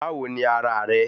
Báwo ni ara rẹ